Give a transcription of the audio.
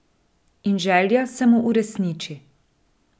In želja se mu uresniči ...